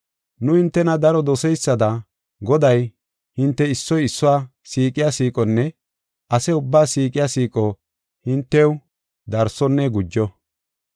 Nu hintena daro doseysada Goday hinte issoy issuwa siiqiya siiqonne ase ubbaa siiqiya siiqo hintew darsonne gujo.